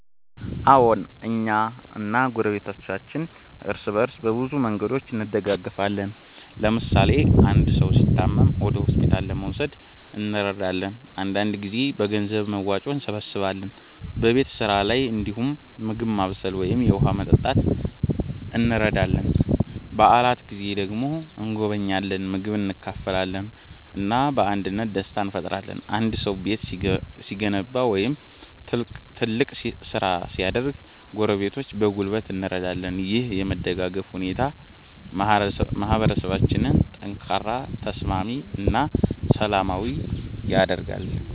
አዎን፣ እኛ እና ጎረቤቶቻችን እርስ በእርስ በብዙ መንገዶች እንደጋገፋለን። ለምሳሌ አንድ ሰው ሲታመም ወደ ሆስፒታል ለመውሰድ እንረዳለን፣ አንዳንድ ጊዜም በገንዘብ መዋጮ እንሰብስባለን። በቤት ስራ ላይ እንዲሁም ምግብ ማብሰል ወይም የውሃ ማመጣት እንረዳዳለን። በዓላት ጊዜ ደግሞ እንጎበኛለን፣ ምግብ እንካፈላለን እና በአንድነት ደስታ እንፈጥራለን። አንድ ሰው ቤት ሲገነባ ወይም ትልቅ ስራ ሲያደርግ ጎረቤቶች በጉልበት እንረዳለን። ይህ የመደጋገፍ ሁኔታ ማህበረሰባችንን ጠንካራ፣ ተስማሚ እና ሰላማዊ ያደርጋል።